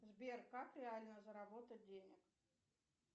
сбер как реально заработать денег